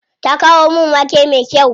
Ta kawo min wake me kyau.